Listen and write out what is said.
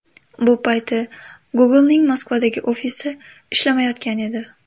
Bu payti Google’ning Moskvadagi ofisi ishlamayotgan edi.